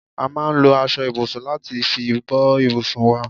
A máa ń lò aṣọ ibùsùn láti fi bò ibùsùn wá